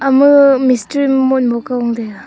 ama mistery yam motmok ka gong taiga.